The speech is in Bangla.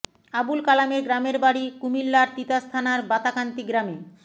আবুল কালামের গ্রামের বাড়ি কুমিল্লার তিতাস থানার বাতাকান্দি গ্রামে